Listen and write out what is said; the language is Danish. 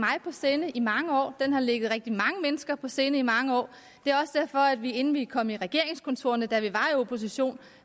sinde i mange år den har ligget rigtig mange mennesker på sinde i mange år inden vi kom i regeringskontorerne da vi var i opposition